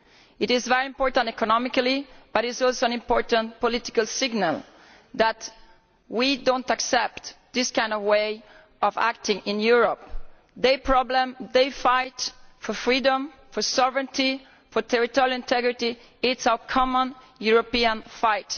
It is very important economically, but it is also an important political signal that we do not accept this way of acting in Europe. Their problem, their fight for freedom, for sovereignty, for territorial integrity, is our common European fight.